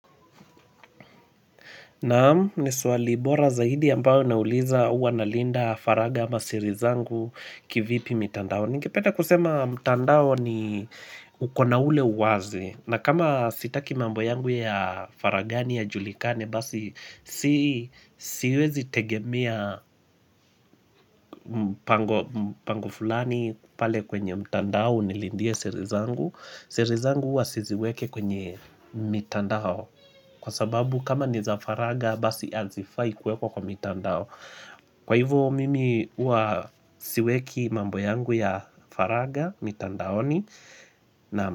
Naam, ni swali bora zaidi ambao nauliza uwa nalinda faraga ama siri zangu kivipi mitandao. Ningependa kusema mtandao ni uko na ule uwazi. Na kama sitaki mambo yangu ya faragani yajulikani basi siwezi tegemia pangu fulani pale kwenye mtandao nilindie siri zangu. Siri zangu uwa siziwike kwenye mitandao. Kwa sababu kama ni za faraga basi azifai kuwekwa kwa mitandao Kwa hivyo mimi uwa siweki mambo yangu ya faraga mitandaoni.